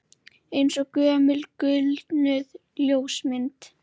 Eins og gömul gulnuð ljósmynd